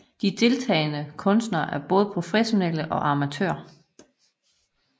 De deltagende kunstnere er både professionelle og amatører